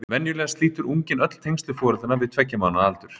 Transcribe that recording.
Venjulega slítur unginn öll tengsl við foreldrana við tveggja mánaða aldur.